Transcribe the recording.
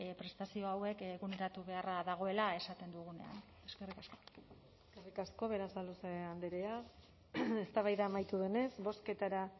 prestazio hauek eguneratu beharra dagoela esaten dugunean eskerrik asko eskerrik asko berasaluze andrea eztabaida amaitu denez bozketara